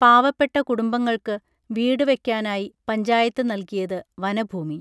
പാവപ്പെട്ട കുടുംബങ്ങൾക്ക് വീട് വെക്കാനായി പഞ്ചായത്ത് നൽകിയത് വനഭൂമി